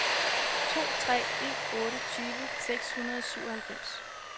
to tre en otte tyve seks hundrede og syvoghalvfems